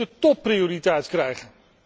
Die moeten topprioriteit krijgen.